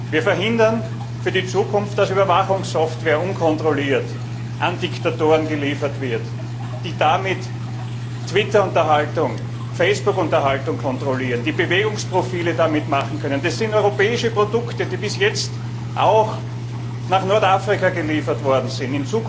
Wir verhindern für die Zukunft, dass Überwachungssoftware unkontrolliert an Diktatoren geliefert wird, die damit Twitter und Facebok Unterhaltungen kontrollieren und Bewegungsprofile damit machen können. Das sind europäische Produkte, die bis jetzt auch nach Nordafrika geliefert worden sind.